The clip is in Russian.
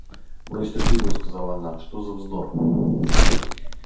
брось эту книгу сказала она что за вздор